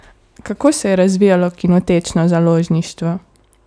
Kako se je razvijalo kinotečno založništvo?